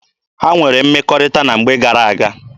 Ha nwere mmekọrịta na mgbe gara-aga?